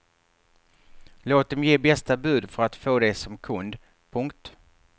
Låt dem ge bästa bud för att få dig som kund. punkt